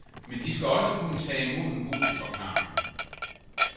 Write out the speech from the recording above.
Men de skal også kunne tage imod en god forklaring.